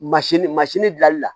Masini masini bilali la